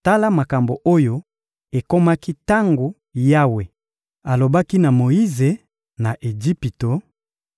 Tala makambo oyo ekomaki tango Yawe alobaki na Moyize, na Ejipito: